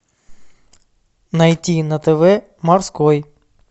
найти на тв морской